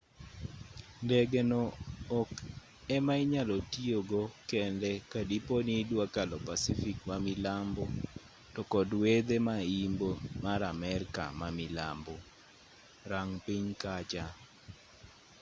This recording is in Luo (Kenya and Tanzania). ndege no ok ema inyalo tiyogo kende ka dipo ni idwa kalo pacific ma milambo to kod wedhe ma imbo mar amerka ma milambo. rang piny kacha